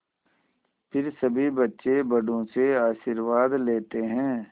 फिर सभी बच्चे बड़ों से आशीर्वाद लेते हैं